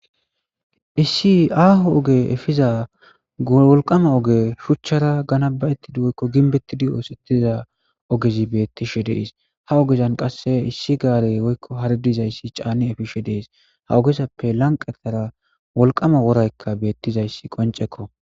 issi aaho oge efiza wolqama oge shuchchara gana ba7ettidi woykko ginbettidi oosettiza ogezi beettishe dees ha ogezan qasse issi gaare woykko haridizayssi caani efishe dees ha ogezappe lanqatara wolqama woraykka beettizayssi qoncekko